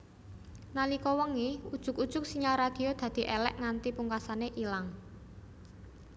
Nalika wengi ujug ujug sinyal radio dadi èlèk nganti pungkasané ilang